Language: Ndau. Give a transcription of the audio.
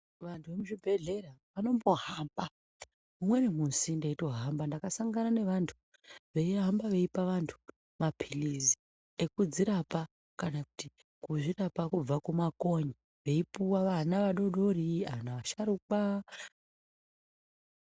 Vantu vemuzvibhedhlera vanombohamba. Umweni musi ndayitohamba ndakasangana nevantu veyihamba veyipa vantu maphilisi, ekudzirapa kana kuti kuzvirapa kubva kumakonye veyipuwa vana vadodori, vana vasharukwa.